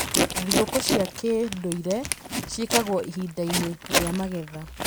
Thigũkũ cia kĩndũire ciĩkagwo ihinda-inĩ rĩa magetha.